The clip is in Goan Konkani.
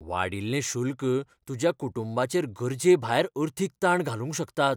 वाडील्ले शुल्क तुज्या कुटुंबाचेर गरजे भायर अर्थीक ताण घालूंक शकतात.